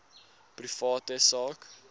private sak